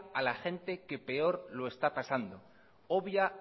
a la gente que peor lo está pasando obvia